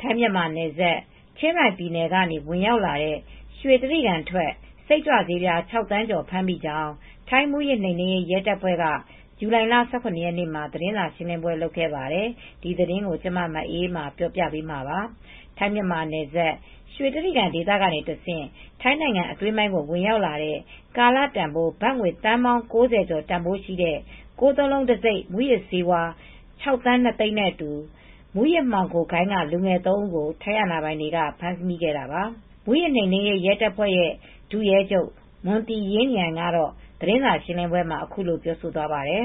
ထိုင်း-မြန်မာနယ်စပ် ချင်းရိုင်ပြည်နယ်ကနေ ဝင်ရောက်လာတဲ့ ရွှေတြိဂံထွက် စိတ်ကြွဆေး ၆ သန်းကျော် ဖမ်းမိကြောင်း ထိုင်းမူးယစ်နှိမ်နင်းရေး ရဲတပ်ဖွဲ့က ဇူလိုင်လ ၁၇ ရက်နေ့မှာ သတင်းစာရှင်းလင်းပွဲ လုပ်ခဲ့ပါတယ်။ အပြည့်အစုံကို မအေးအေးမာ တင်ပြပေးထားပါတယ်။ ထိုင်း-မြန်မာနယ်စပ် ရွှေတြိဂံဒေသကနေတဆင့် ထိုင်းနိုင်ငံအတွင်းပိုင်း ဝင်ရောက်လာတဲ့ ကာလတန်ဖိုး ဘတ်ငွေသန်းပေါင်း ၉၀ ကျော်တန်ဖိုးရှိတဲ့ ၉၉၉ တံဆိပ် မူးယစ်ဆေး ၆ သန်း ၂ သိန်းနဲ့အတူ မူးယစ်မှောင်ခိုဂိုဏ်းက လူငယ် ၃ ဦးကို ထိုင်းအာဏာပိုင်တွေက ဖမ်းမိခဲ့တာပါ။ မူးယစ်နှိမ်နင်းရေးတပ်ဖွဲ့ ဒုရဲချုပ် မွန်သီရင်းရမ်ကတော့ သတင်းစာရှင်းလင်းပွဲမှာ အခုလိုပြောသွားပါတယ်။ “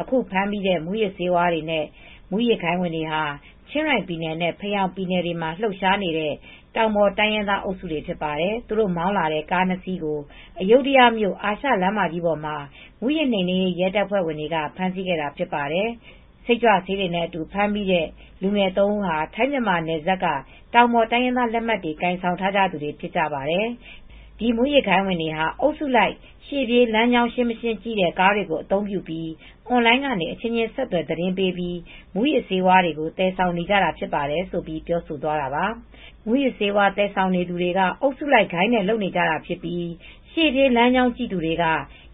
အခုဖမ်းမိတဲ့ မူးယစ်ဆေးဝါးတွေနဲ့ မူးယစ်ဂိုဏ်းဝင်တွေဟာ ချင်းရိုင်ပြည်နယ်နဲ့ ဖယောင်ပြည်နယ်တွေမှာ လှုပ်ရှားနေတဲ့ တောင်ပေါ်တိုင်းရင်းသားတွေ ဖြစ်ပါတယ်။ သူတို့မောင်းလာတဲ့ ကားနှစ်စီးကို အယုဒ္ဒယမြို့ အာရှလမ်းမကြီးပေါ်မှာ မူးယစ်နှိမ်နင်းရေး တပ်ဖွဲ့ဝင်တွေက ဖမ်းဆီးခဲ့တာ ဖြစ်ပါတယ်။ စိတ်ကြွဆေးတွေနဲ့အတူ ဖမ်းမိခဲ့တဲ့ လူငယ်သုံးဦးဟာ ထိုင်း-မြန်မာနယ်စပ်က တောင်ပေါ်တိုင်းရင်းသား လက်မှတ်တွေ ကိုင်ဆောင်ထားကြသူတွေ ဖြစ်ပါတယ်။ ဒီမူးယစ်ဂိုဏ်းဝင်တွေဟာ အုပ်စုလိုက် ရှေ့ပြေးလမ်းကြောင်းရှင်းမရှင်း ကြည့်တဲ့ကားတွေ အသုံးပြုပြီး အွန်လိုင်းကနေ အချင်းချင်း ဆက်သွယ် သတင်းပေးပြီး မူးယစ်ဆေးတွေ သယ်ဆောင်နေတာ ဖြစ်ပါတယ်။” ဆိုပြီး ပြောဆိုသွားတာပါ။ မူးယစ်ဆေးဝါး သယ်ဆောင်သူတွေက အုပ်စုလိုက် ဂိုဏ်းနဲ့လုပ်ကြတာဖြစ်ပြီး ရှေ့ပြေး လမ်းကြောင်းကြည့်သူတွေက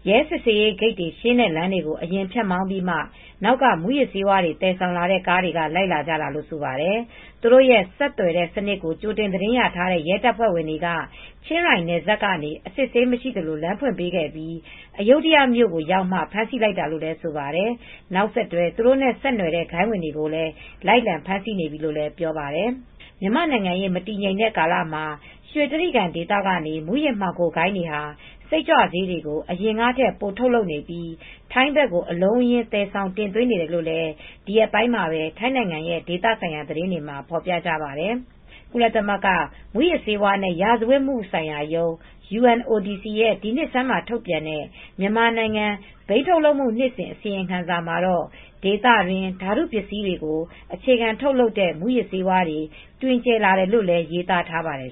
ရဲစစ်ဆေးရေးဂိတ်တွေရှင်းတဲ့ လမ်းတွေကို အရင်ဖြတ်မောင်းပြီးမှ နောက်က မူးယစ်ဆေးတွေ သယ်ဆောင်တဲ့ ကားတွေက လိုက်လာကြတာလို့ ဆိုပါတယ်။ သူတို့ရဲ့ ဆက်သွယ်တဲ့စနစ်ကို ကြိုတင်သတင်းရထားတဲ့ ရဲတပ်ဖွဲ့ဝင်တွေဟာ ချင်းရိုင်နယ်စပ်ကနေ အစစ်အဆေးမရှိသလို လမ်းဖွင့်ပေးပြီး အယုဒ္ဒယမြို့ကိုရောက်မှ ဖမ်းဆီးလိုက်တာလို့လည်း ဆိုပါတယ်။ နောက်ဆက်တွဲ သူတို့နဲ့ဆက်နွှယ်တဲ့ ဂိုဏ်းဝင်တွေကိုလည်း လိုက်လံဖမ်းဆီးနေပြီလို့လည်း ပြောပါတယ်။ မြန်မာ့နိုင်ငံရေး မတည်ငြိမ်တဲ့ကာလမှာ ရွှေတြိဂံဒေသက မူးယစ်မှောင်ဂိုဏ်းတွေဟာ စိတ်ကြွဆေးတွေကို အရင်ကထက် ပိုထုတ်လုပ်နေပြီး ထိုင်းဘက်ကို အလုံးအရင်း သယ်ဆောင်တင်သွင်းနေတယ်လို့လည်း ဒီရက်ပိုင်းမှာပဲ ထိုင်းနိုင်ငံရဲ့ ဒေသဆိုင်ရာ သတင်းတွေမှာ ဖော်ပြကြပါတယ်။ ကုလသမဂ္ဂ မူးယစ်ဆေးဝါးနဲ့ ရာဇဝတ်မှုဆိုင်ရာရုံး (UNODC) ရဲ့ ဒီနှစ်ဆန်းမှာ ထုတ်ပြန်တဲ့ မြန်မာနိုင်ငံ ဘိန်းထုတ်လုပ်မှု နှစ်စဉ်အစီရင်ခံစာမှာတော့ ဒေသတွင်းမှာ ဓာတုပစ္စည်းတွေကို အခြေခံထုတ်လုပ်တဲ့ မူးယစ်ဆေးဝါးတွေ တွင်ကျယ်လာတယ်လို့လည်း ရေးသားထားပါတယ်